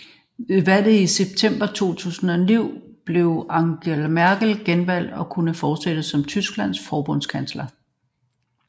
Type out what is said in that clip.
Ved valget i september 2009 blev Angela Merkel genvalgt og kunne fortsætte som Tysklands forbundskansler